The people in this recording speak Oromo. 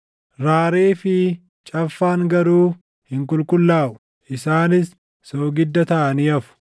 Raaree fi caffaan garuu hin qulqullaaʼu; isaanis soogidda taʼanii hafu.